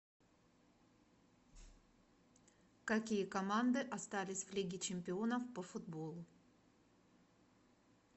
какие команды остались в лиге чемпионов по футболу